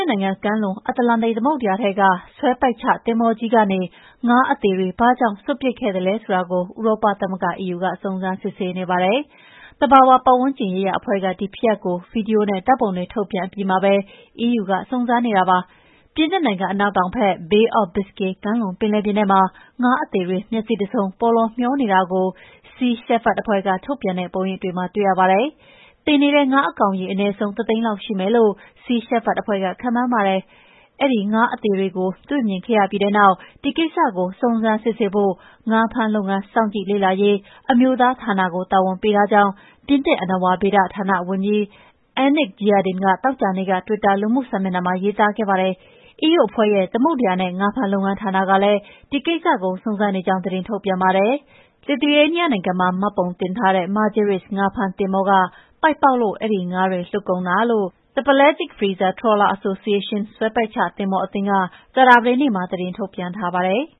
နိုင်ငံကမ်းလွန် အတ္တလန္တိတ် သမုဒ္ဒရာထဲက ဆွဲပိုက်ချသင်္ဘောကြီးကနေ ငါးအသေတွေ ဘာကြောင့်စွန့်ပစ်ခဲ့သလဲဆိုတာ ဥရောပသမဂ္ဂ EU က စုံစမ်းစစ်ဆေးနေပါတယ်။ သဘာဝပတ်ဝန်းကျင်ရေးရာအဖွဲ့က ဒီဖြစ်ရပ်ကို ဗွီဒီယိုနဲ့ ဓာတ်ပုံတွေ ထုတ်ပြန်အပြီးမှာ EU က စုံစမ်းနေတာပါ။ ပြင်သစ်နိုင်ငံ အနောက်တောင်ဘက် Bay of Biscay ကမ်းလွန်ပင်လယ်ပြင်ထဲမှာ ငါးအသေတွေ မျက်စိတဆုံး ပေါလောမျောနေတာကို Sea Shepherd အဖွဲ့က ထုတ်ပြန်တဲ့ ပုံရိပ်တွေမှာ တွေ့ရပါတယ်။ သေနေတဲ့ငါးကောင်အရ အနည်းဆုံး တသိန်းလောက်ရှိမယ်လို့ Sea Shepherd အဖွဲ့က ခန့်မှန်းပါတယ်။ အဲဒီငါးအသေတွေကို တွေ့မြင်ခဲ့ပြီးတဲ့နောက် ဒီကိစ္စကို စုံစမ်းစစ်ဆေးဖို့ ငါးဖမ်းလုပ်ငန်း စောင့်ကြည့်လေ့လာရေး အမျိုးသားဌာနကို တာဝန်ပေးထားကြောင်း ပြင်သစ် အဏ္ဏဝါဗေဒဌာန ဝန်ကြီး Annick Girardin က သောကြာနေ့က တွစ်တာ လူမှုစာမျက်နှာမှာ ရေးသားခဲ့ပါတယ်။ EU အဖွဲ့ရဲ့ သမုဒ္ဒရာနဲ့ ငါးဖမ်းလုပ်ငန်းဌာနကလည်း ဒီကိစ္စကို စုံစမ်းနေကြောင်း သတင်းထုတ်ပြန်ပါတယ်။ လစ်သူယေးနီးယားနိုင်ငံမှာ မှတ်ပုံတင်ထားတဲ့ Margiris ငါးဖမ်းသင်္ဘောက ပိုက်ပေါက်လို့ အဲဒီငါးတွေ လွတ်ကုန်တာလို့ The Pelagic Freezer-Trawler Association ဆွဲပိုက်ချသင်္ဘောအသင်းက ကြာသပတေးနေ့မှာ ထုတ်ပြန်ထားပါတယ်။